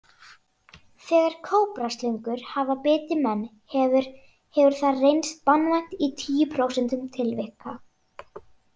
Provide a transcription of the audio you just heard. Þegar kóbraslöngur hafa bitið menn hefur hefur það reynst banvænt í tíu prósentum tilvika.